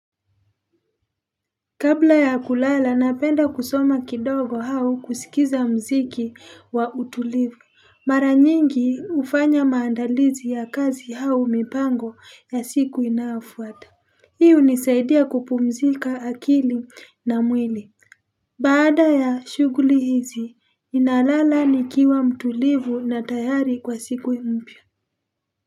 Kabla ya kulala napenda kusoma kidogo au kusikiza muziki wa utulivu mara nyingi hufanya maandalizi ya kazi au mipango ya siku inayofuata hi hunisaidia kupumzika akili na mwili Baada ya shughuli hizi nalala nikiwa mtulivu na tayari kwa siku mpya.